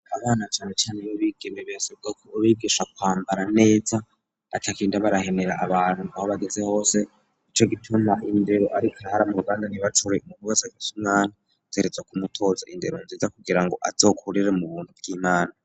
Abana canecane b'abigeme birasabwa kubigisha kwambara neza batagenda barahenera abantu aho bageze hose. Nico gituma indero ari karahara mu ruganda ntibacure, umuntu wese afise umwana ategerezwa kumutoza indero nziza kugira ngo azokurire mu buntu bw'Imana.